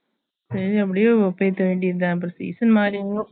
சரி அப்பிடியே okay பண்ணவேண்டியதுதா season மாறும்